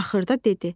Axırda dedi.